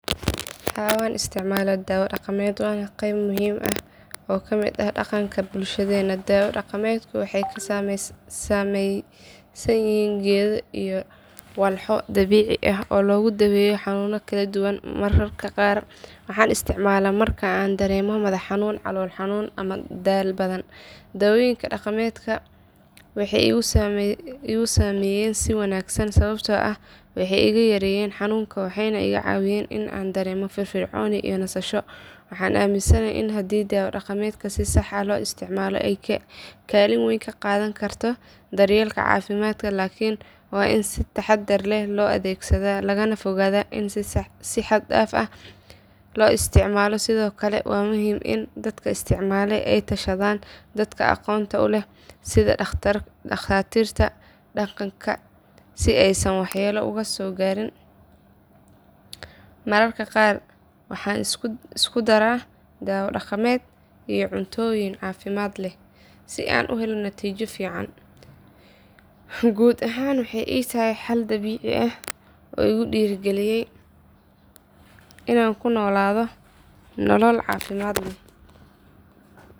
Haa waan isticmaalaa dawo dhaqameed waana qayb muhiim ah oo ka mid ah dhaqanka bulshadeena dawo dhaqameedku waxay ka samaysan yihiin geedo iyo walxo dabiici ah oo lagu daweeyo xanuunno kala duwan mararka qaar waxaan isticmaalaa marka aan dareemo madax xanuun calool xanuun ama daal badan dawooyinka dhaqameed waxay igu saameeyeen si wanaagsan sababtoo ah waxay iga yareeyeen xanuunka waxayna iga caawiyeen in aan dareemo firfircooni iyo nasasho waxaan aaminsanahay in haddii dawo dhaqameedka si sax ah loo isticmaalo ay kaalin weyn ka qaadan karto daryeelka caafimaadka laakin waa in si taxaddar leh loo adeegsadaa lagana fogaadaa in si xad dhaaf ah loo isticmaalo sidoo kale waa muhiim in dadka isticmaala ay la tashadaan dadka aqoonta u leh sida dhaqatiirta dhaqanka si aysan waxyeello uga soo gaarin mararka qaar waxaan isku daraa dawo dhaqameed iyo cuntooyin caafimaad leh si aan u helo natiijo fiican guud ahaan waxay ii tahay xal dabiici ah oo igu dhiirrigeliya inaan ku noolaado nolol caafimaad leh.